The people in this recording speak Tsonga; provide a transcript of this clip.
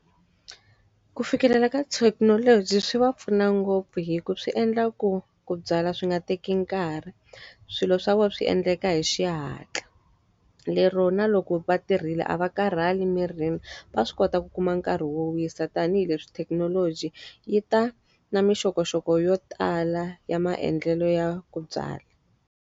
Ku fikelela ka thekinoloji swi va pfuna ngopfu hikuva swi endla ku ku byala swi nga teki nkarhi, swilo swa vona swi endleka hi xihatla. Lero na loko va tirhile a va karhali mirini, va swi kota ku kuma nkarhi wo wisa tanihileswi thekinoloji yi ta na minxokoxoko yo tala ya maendlelo ya ku dyala.